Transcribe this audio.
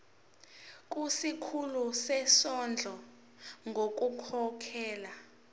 kusikhulu sezondlo ngokukhokhela